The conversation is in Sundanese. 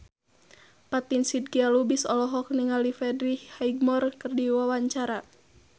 Fatin Shidqia Lubis olohok ningali Freddie Highmore keur diwawancara